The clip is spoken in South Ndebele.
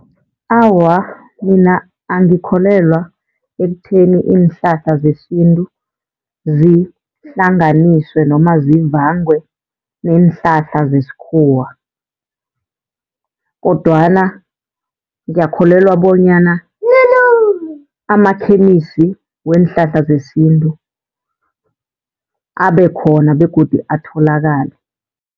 Awa, mina angikholelwa ekutheni iinhlahla zesintu zihlanganiswe noma zivangwe neenhlahla zesikhuwa. Kodwana ngiyakholelwa bonyana amakhemisi weenhlahla zesintu abekhona begodu atholakale.